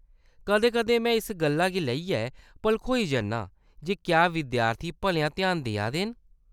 कदें-कदें, मैं इस गल्ला गी लेइयै भलखोई जन्नां जे क्या विद्यार्थी भलेआं ध्यान देऐ दे न।